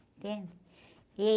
Entende? E...